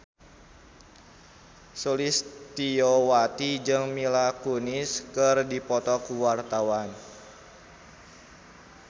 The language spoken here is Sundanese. Sulistyowati jeung Mila Kunis keur dipoto ku wartawan